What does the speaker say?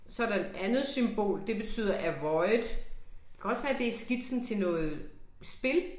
Så der et andet symbol, det betyder avoid, kan også være det er skitsen til noget spil